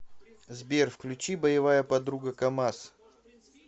сбер включи боевая подруга камаз